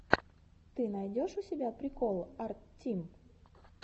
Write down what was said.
ты найдешь у себя прикол арттим